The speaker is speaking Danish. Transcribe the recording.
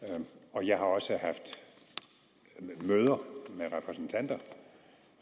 og jeg har også haft møder med repræsentanter